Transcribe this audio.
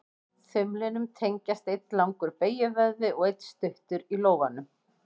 Þumlinum tengjast einn langur beygjuvöðvi og einn stuttur í lófanum.